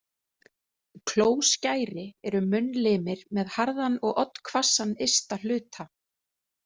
Klóskæri eru munnlimir með harðan og oddhvassann ysta hluta.